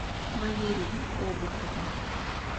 валерию обухову